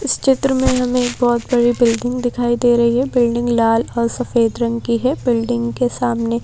इस चित्र में हमें एक बहुत बड़ी बिल्डिंग दिखाई दे रही है बिल्डिंग लाल और सफेद रंग की है बिल्डिंग के सामने--